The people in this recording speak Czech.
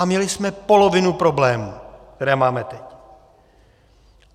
A měli jsme polovinu problémů, které máme teď.